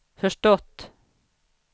förstått